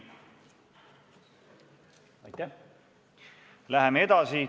Läheme edasi.